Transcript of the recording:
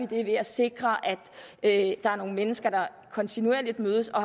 det ved at sikre at der er nogle mennesker der kontinuerligt mødes og